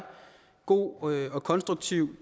god og konstruktiv